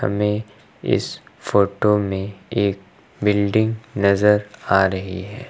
हमें इस फोटो में एक बिल्डिंग नजर आ रही है।